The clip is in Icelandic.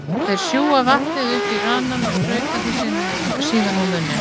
Þeir sjúga vatnið upp í ranann og sprauta því síðan upp í munninn.